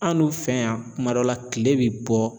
An dun fɛ yan kuma dɔ la kile bi bɔ